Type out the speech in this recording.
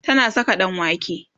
tana Saka ɗanwake